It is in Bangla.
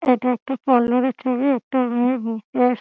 এটা একটা পার্লার - এর ছবি। একটা মেয়ে বসে আ --